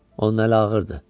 Onun əli ağırdır.